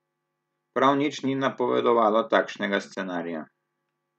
Prav nič ni napovedovalo takšnega scenarija.